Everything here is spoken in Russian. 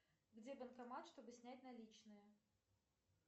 где банкомат чтобы снять наличные